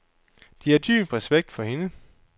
De har dyb respekt for hende.